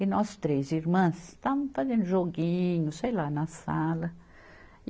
E nós três irmãs estávamos fazendo joguinho, sei lá, na sala.